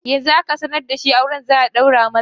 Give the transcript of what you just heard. Yanzu aka sanar da shi auren za a ɗaura masa